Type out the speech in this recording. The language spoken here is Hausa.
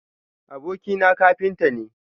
Abokina kafinta ne.